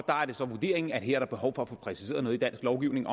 er det så vurderingen at der her er behov for at få præciseret noget i dansk lovgivning